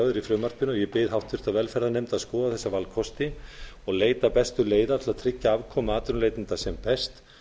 í frumvarpinu og ég bið háttvirt velferðarnefnd að skoða þessa valkosti og leita bestu leiða til að tryggja afkomu atvinnuleitenda sem best